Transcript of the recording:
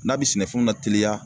N'a bɛ sɛnɛfɛnw lateliya